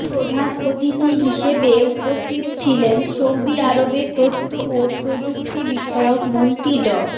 প্রধান অতিথি হিসেবে উপস্থিত ছিলেন সৌদি আরবের তথ্য ও প্রযুক্তি বিষয়ক মন্ত্রী ড